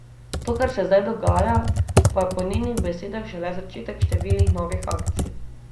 To, kar se zdaj dogaja, pa je po njenih besedah šele začetek številnih novih akcij.